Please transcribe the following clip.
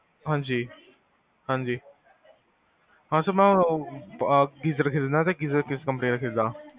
ਹਾਂਜੀ ਹਾਂਜੀ, ਹਾਂ sir ਮੈਂ geaser ਖਰੀਦਣਾ ਤੇ geaser ਕਿਸ company ਦਾ ਖਰੀਦਾਂ?